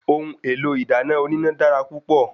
Ohun èlò ìdáná oníná dára púpọ̀